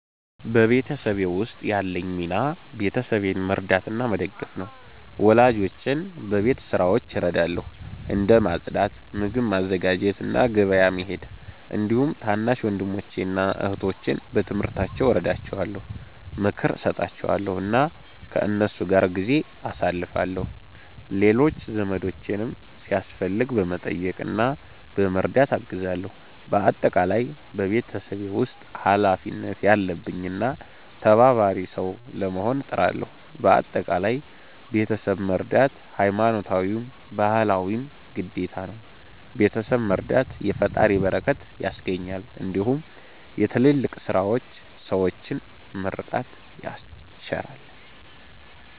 በቤተሰቤ ውስጥ ያለኝ ሚና ቤተሰቤን መርዳትና መደገፍ ነው። ወላጆቼን በቤት ስራዎች እረዳለሁ፣ እንደ ማጽዳት፣ ምግብ ማዘጋጀት እና ገበያ መሄድ። እንዲሁም ታናሽ ወንድሞቼን እና እህቶቼን በትምህርታቸው እረዳቸዋለሁ፣ ምክር እሰጣቸዋለሁ እና ከእነሱ ጋር ጊዜ አሳልፋለሁ። ሌሎች ዘመዶቼንም ሲያስፈልግ በመጠየቅ እና በመርዳት አግዛለሁ። በአጠቃላይ በቤተሰቤ ውስጥ ኃላፊነት ያለብኝ እና ተባባሪ ሰው ለመሆን እጥራለሁ። በአጠቃላይ ቤተሰብ መርዳት ሀይማኖታዊም ባህላዊም ግዴታ ነው። ቤተሰብ መረዳት የፈጣሪን በረከት ያስገኛል እንዲሁም የትልልቅ ሠዎችን ምርቃት ያስቸራል።